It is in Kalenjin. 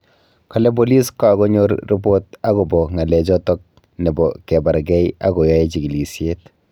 Kale bolis kakonyor ribot akobo ng'alek choto nebo kebargei ak koyae chigilisyet